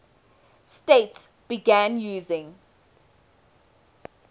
states began using